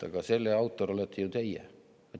Aga selle autor olete ju teie.